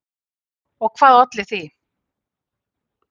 Og hvað olli því?